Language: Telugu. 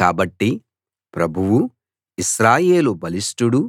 కాబట్టి ప్రభువూ ఇశ్రాయేలు బలిష్టుడూ